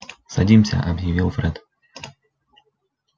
садимся объявил фред